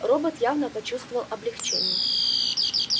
робот явно почувствовал облегчение